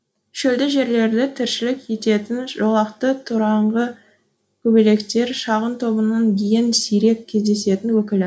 шөлді жерлерде тіршілік ететін жолақты тораңғы көбелектер шағын тобының ең сирек кездесетін өкілі